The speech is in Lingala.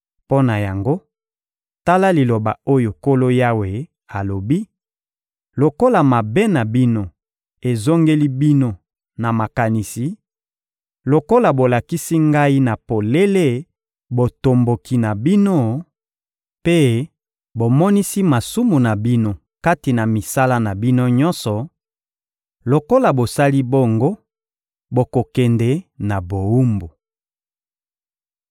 Mpo na yango, tala liloba oyo Nkolo Yawe alobi: ‹Lokola mabe na bino ezongeli bino na makanisi, lokola bolakisi Ngai na polele botomboki na bino mpe bomonisi masumu na bino kati na misala na bino nyonso; lokola bosali bongo, bokokende na bowumbu.